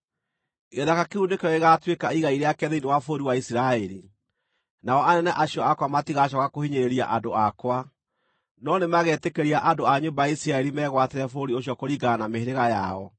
Gĩthaka kĩu nĩkĩo gĩgaatuĩka igai rĩake thĩinĩ wa bũrũri wa Isiraeli. Nao anene acio akwa matigacooka kũhinyĩrĩria andũ akwa, no nĩmagetĩkĩria andũ a nyũmba ya Isiraeli megwatĩre bũrũri ũcio kũringana na mĩhĩrĩga yao.